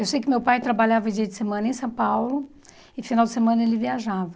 Eu sei que meu pai trabalhava dia de semana em São Paulo e no final de semana ele viajava.